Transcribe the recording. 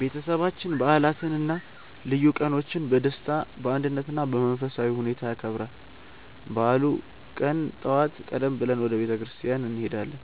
ቤተሰባችን በዓላትን እና ልዩ ቀኖችን በደስታ፣ በአንድነት እና በመንፈሳዊ ሁኔታ ያከብራል። በበዓሉ ቀን ጠዋት ቀደም ብለን ወደ ቤተ ክርስቲያን እንሄዳለን፣